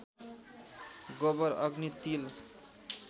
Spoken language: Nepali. गोबर अग्नि तिल